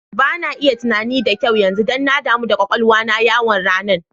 Ba na iya tunani da kyau yanzu, dan na damu kwakwalwa na yawan ranan.